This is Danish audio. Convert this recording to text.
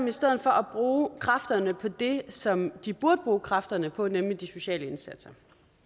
i stedet for at bruge kræfterne på det som de burde bruge kræfterne på nemlig de sociale indsatser